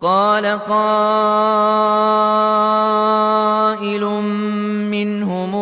قَالَ قَائِلٌ مِّنْهُمْ